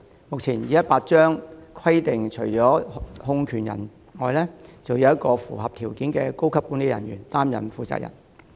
目前《旅行代理商條例》規定，除控權人外，要有一名符合條件的高級人員出任負責人。